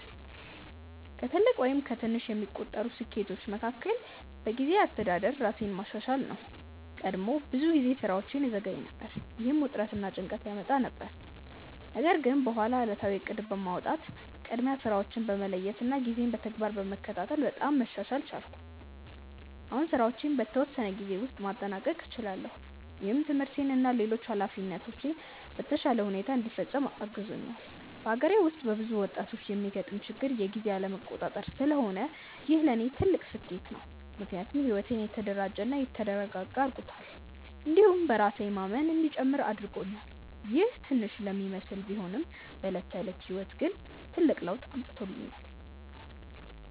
ከትልቅ ወይም ከትንሽ የሚቆጠሩ ስኬቶቼ መካከል በጊዜ አስተዳደር ራሴን ማሻሻል ነው። ቀድሞ ብዙ ጊዜ ስራዎቼን እዘገይ ነበር፣ ይህም ውጥረት እና ጭንቀት ያመጣ ነበር። ነገር ግን በኋላ ዕለታዊ እቅድ በማውጣት፣ ቅድሚያ ስራዎችን በመለየት እና ጊዜን በተግባር በመከታተል በጣም መሻሻል ቻልኩ። አሁን ስራዎቼን በተወሰነ ጊዜ ውስጥ ማጠናቀቅ እችላለሁ፣ ይህም ትምህርቴን እና ሌሎች ኃላፊነቶቼን በተሻለ ሁኔታ እንዲፈጽም አግዞኛል። በአገሬ ውስጥ በብዙ ወጣቶች የሚገጥም ችግር የጊዜ አለመቆጣጠር ስለሆነ ይህ ለእኔ ትልቅ ስኬት ነው። ምክንያቱም ሕይወቴን የተደራጀ እና የተረጋጋ አድርጎታል፣ እንዲሁም በራሴ ላይ የማምን እንዲጨምር አድርጎኛል። ይህ ትንሽ ለሚመስል ቢሆንም በዕለት ተዕለት ሕይወት ላይ ትልቅ ለውጥ አምጥቶኛል።